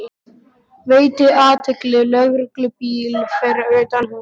Veiti athygli lögreglubíl fyrir utan húsið.